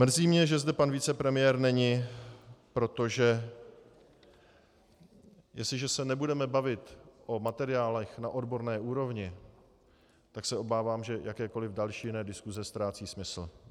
Mrzí mě, že zde pan vicepremiér není, protože jestliže se nebudeme bavit o materiálech na odborné úrovni, tak se obávám, že jakékoliv další jiné diskuse ztrácí smysl.